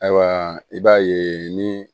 Ayiwa i b'a ye ni